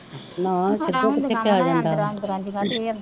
ਨਾਂ ਸਿੱਧਾ ਕਿੱਥੇ ਪਿਆ ਜਾਂਦਾ ,